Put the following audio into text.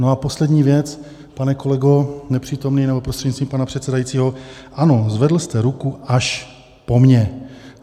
No a poslední věc, pane kolego, nepřítomný nebo prostřednictvím pana předsedajícího, ano, zvedl jste ruku až po mně.